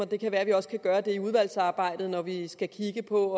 det kan være vi også kan gøre det under udvalgsarbejdet når vi skal kigge på